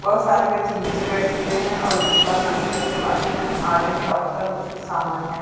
बहुत सारे बच्चे नीचे बैठे हुए है और उनके पास कुछ ना कुछ art n art and craft का कुछ-कुछ सामान है।